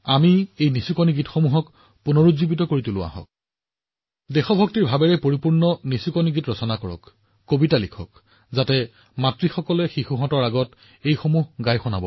গতিকে অমৃতকালত এই কলাকো পুনৰুজ্জীৱিত কৰি আৰু দেশপ্ৰেমমূলক ওমলা গীত কবিতা গান লিখিব নোৱাৰে যিটো মাতৃসকলে প্ৰতিটো ঘৰত তেওঁলোকৰ সৰু লৰাছোৱালীক সহজে শুনাব পাৰে